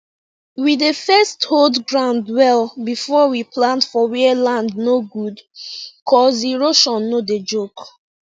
we dey first hold ground well before we plant for where land no good cuz erosion no dey joke